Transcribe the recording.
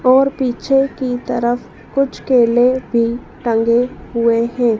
और पीछे की तरफ कुछ केले भी टंगे हुए है।